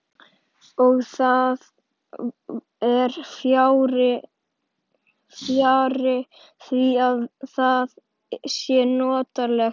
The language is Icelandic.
Og það er fjarri því að það sé notalegt.